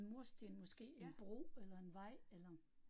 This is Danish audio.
Mursten måske en bro eller en vej eller